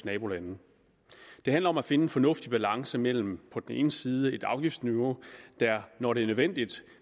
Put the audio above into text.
nabolande det handler om at finde en fornuftig balance mellem på den ene side et afgiftsniveau der når det er nødvendigt